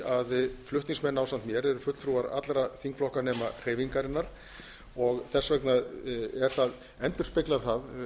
að flutningsmenn ásamt mér eru fulltrúar allra þingflokka nema hreyfingarinnar þess vegna endurspeglar það